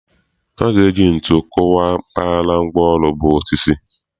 A ga-eji ntu kụkwaa mpaghara ngwaọrụ bụ osisi.